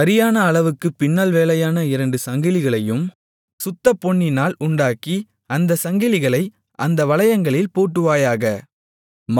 சரியான அளவுக்குப் பின்னல்வேலையான இரண்டு சங்கிலிகளையும் சுத்தப்பொன்னினால் உண்டாக்கி அந்தச் சங்கிலிகளை அந்த வளையங்களில் பூட்டுவாயாக